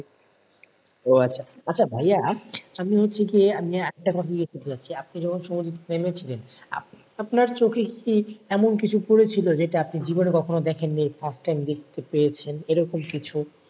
ও আচ্ছা আচ্ছা ভাইয়া আমি হচ্ছে গিয়ে আমি আরেকটা কথা জিজ্ঞেস করতে চাচ্ছি আপনি যখন সমুদ্রে নেমে ছিলেন আপ~আপনার চোখে কি এমন কিছু পড়েছিল যেটা আপনি জীবনে কখনো দেখেননি first time দেখতে পেয়েছেন এরকম কিছু?